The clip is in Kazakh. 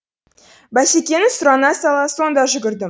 басекеннең сұрана сала сонда жүгірді